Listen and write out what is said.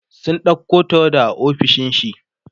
sun ɗauko tawada a ofishin shi